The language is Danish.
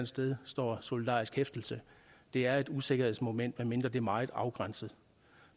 sted står solidarisk hæftelse det er et usikkerhedsmoment medmindre det er meget afgrænset